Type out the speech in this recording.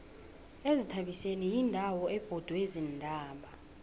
izithabiseni yindawo ebhodwe ziintaba